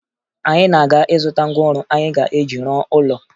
Anyị na-aga ịzụta ngwaọrụ anyị ga-eji rụọ ụlọ